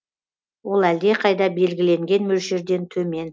ол әлдеқайда белгіленген мөлшерден төмен